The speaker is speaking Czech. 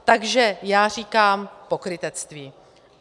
Takže já říkám pokrytectví.